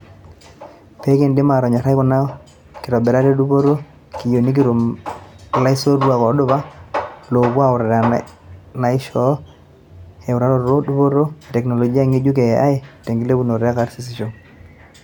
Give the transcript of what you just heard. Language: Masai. pekindim aatonyorai kuna kitobirat e dupoto, keyieu nikitum laisotuak odupa loopuo aauta naisho eutaroto dupoto e teknoloji ngejuk e AI tengilepunoto e karisisho.